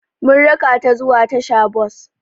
Mun raka tà zuwa tasha-bos.